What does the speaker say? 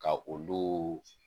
Ka olu